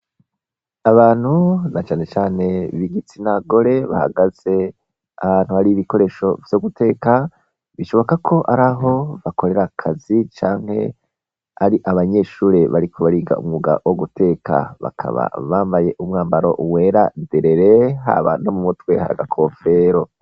Abantu na canecane bigitsinagore bahagaze abantu bari ibikoresho vyo guteka bishoboka ko ari aho bakorera akazi canke ari abanyeshure bariko bariga umwuga wo guteka bakaba bambaye umwambaro uwera derere ha bano mu mutwe haaga kofero.